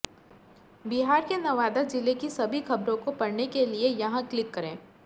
बिहार के नवादा जिले की सभी खबरों को पढ़ने के लिए यहां क्लिक करें